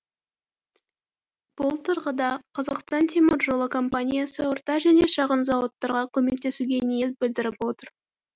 бұл тұрғыда қазақстан темір жолы компаниясы орта және шағын зауыттарға көмектесуге ниет білдіріп отыр